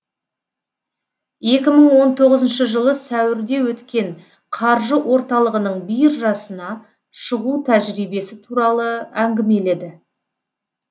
екі мың он тоғызыншы жылы сәуірде өткен қаржы орталығының биржасына шығу тәжірибесі туралы әңгімеледі